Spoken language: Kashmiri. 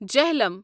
جہلَم